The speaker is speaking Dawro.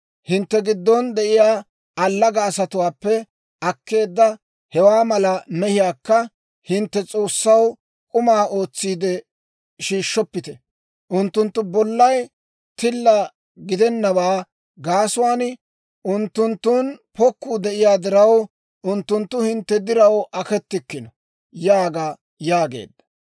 Hintte giddon de'iyaa allaga asatuwaappe akkeedda hewaa mala mehiyaakka hintte S'oossaw k'uma ootsiide shiishshoppite. Unttunttu bollay tilla gidennawaa gaasuwaan unttunttun pokkuu de'iyaa diraw, unttunttu hintte diraw akettikino› yaaga» yaageedda.